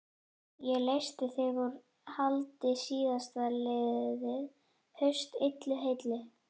Ég leysti þig úr haldi síðastliðið haust, illu heilli.